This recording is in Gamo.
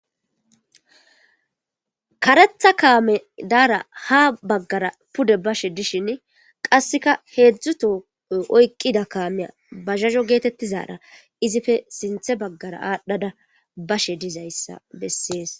karetha kaame daara ha baggara pude bashe dishin qasseka heedzdzuto oyqqida kaamiya ba zhazho geetettizara izife sinthe baggara aadhdhada bashe dizayssa bessees